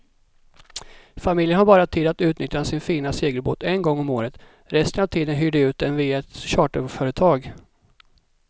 Familjen har bara tid att utnyttja sin fina segelbåt en gång om året, resten av tiden hyr de ut den via ett charterföretag.